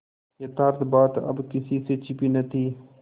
यथार्थ बात अब किसी से छिपी न थी